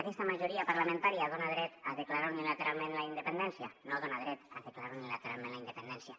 aquesta majoria parlamentària dona dret a declarar unilateralment la independència no dona dret a declarar unilateralment la independència